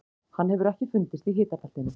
Hann hefur ekki fundist í hitabeltinu.